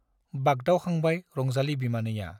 बागदावखांबाय रंजाली बिमानैया।